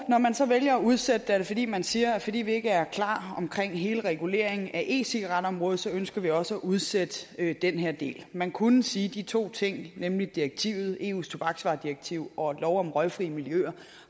når man så vælger at udsætte det er det fordi man siger fordi vi ikke er klar med hele reguleringen af e cigaret området ønsker vi også at udsætte den her del man kunne sige at de to ting nemlig direktivet eus tobaksvaredirektiv og lov om røgfri miljøer